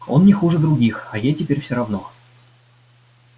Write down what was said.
он не хуже других а ей теперь всё равно